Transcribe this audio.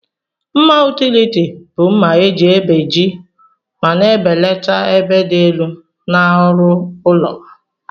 Mma utiliti bu mma eji ebeji ma na ebelata ebe di elu na ọrụ ụlọ.